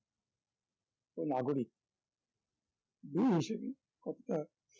ও নাগরিক দুইই হিসাবে কতটা